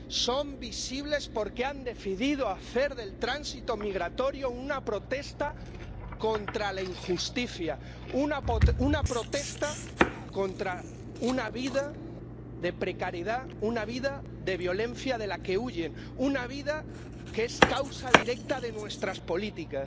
son visibles porque han decidido hacer del tránsito migratorio una protesta contra la injusticia, una protesta contra una vida de precariedad, una vida de violencia de la que huyen, una vida que es consecuencia directa de nuestras políticas.